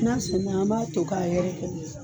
N'a senna an b'a to k'a yɛrɛkɛ